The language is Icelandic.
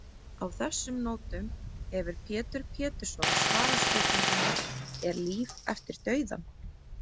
Á þessum nótum hefur Pétur Pétursson svarað spurningunni Er líf eftir dauðann?